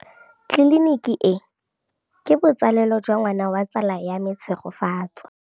Tleliniki e, ke botsalêlô jwa ngwana wa tsala ya me Tshegofatso.